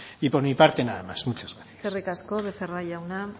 y por mi parte nada más muchas gracias eskerrik asko becerra jauna